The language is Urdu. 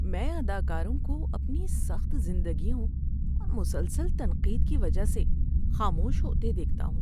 میں اداکاروں کو اپنی سخت زندگیوں اور مسلسل تنقید کی وجہ سے خاموش ہوتے دیکھتا ہوں۔